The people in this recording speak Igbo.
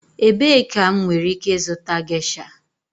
Ebee ka m nwere ike ịzụta gesha?